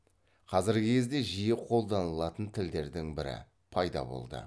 қазіргі кезде жиі қолданылатын тілдердің бірі пайда болды